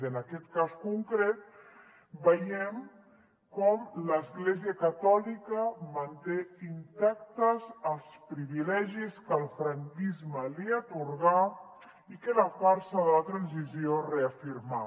i en aquest cas concret veiem com l’església catòlica manté intactes els privilegis que el franquisme li atorgà i que la farsa de la transició reafirma